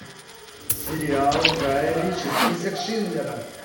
сериал гая ричи список шиндлера